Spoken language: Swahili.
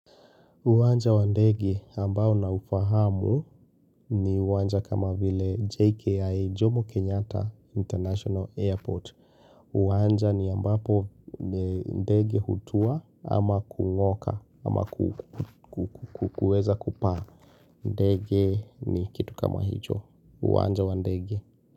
Uwanja wa ndege ambao na ufahamu ni uwanja kama vile JKI Jomo Kenyata International Airport. Uwanja ni ambapo ndege hutua ama kung'oka ama kuweza kupaa. Ndege ni kitu kama hicho. Uwanja wa ndegi.